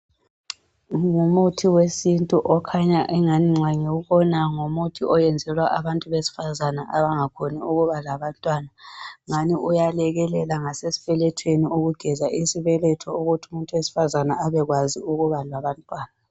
Ngumuthi wesintu okhanya engani nxa ngiwubona ngumuthi owenzelwa abantu besifazana abangakhoni ukuba labantwana. Ngani uyalekelela ngasesibelethweni ukugeza isibeletho ukuthi umuntu wesifazana abekwazi ukuba labantwana